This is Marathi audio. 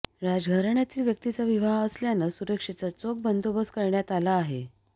राजघराण्यातील व्यक्तीचा विवाह असल्यानं सुरक्षेचा चोख बंदोबस्त करण्यात आला आहे